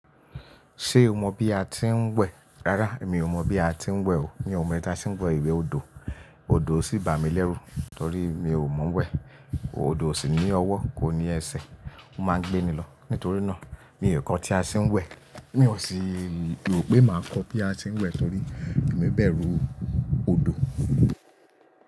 Ṣé o mọ bí a tí ń wẹ̀? Rárá, èmi ò mọ bí a tí ń wẹ̀ o. Mi ò mọ̀ bí a ṣe ń wẹ̀ ìwẹ̀ odò, odò sì bà mí lẹ́rú torí mi ò mọ̀-ọ́n wẹ̀. Odò ò sì ní ọwọ́ kò ní ẹsẹ̀, ó máa ń gbé ni lọ. Nítorí náà, mi ò kọ́ tí a ṣe ń wẹ̀, mi ò sì rò pé màá kọ́ bí a ṣe ń wẹ̀ torí èmi bẹ̀rù odò.